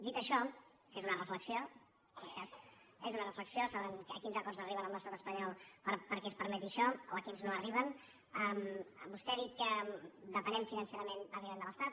dit això que és una reflexió deuen saber a quins acords arriben amb l’estat espanyol perquè es permeti això o a quins no arriben vostè ha dit que depenem financerament bàsicament de l’estat